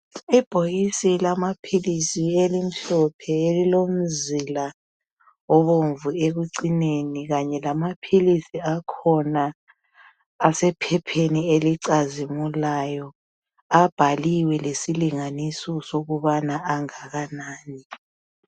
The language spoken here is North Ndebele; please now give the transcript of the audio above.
Ibhokisi lamaphilisi elimhlophe elilomzila obomvu ekucineni kanye lamaphilisi akhona asephepheni elicazimulayo. Abhaliwe lesilingaso sokubana angakanani.